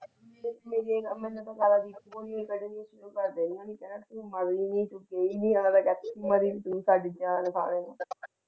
ਘਰ ਦੀਆਂ ਨੂੰ ਕਿ ਕਹਿਣਾ ਨੇ ਹੀ ਕਹਿਣਾ